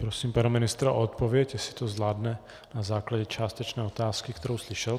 Prosím pana ministra o odpověď, jestli to zvládne na základě částečné otázky, kterou slyšel.